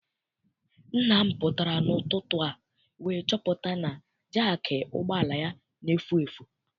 Nna m pụtara n'ụtụtụ a wee chọpụta na jaakị ụgbọala ya na-efu efu.